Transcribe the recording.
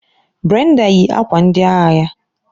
Brenda yi akwa ndị agha ya.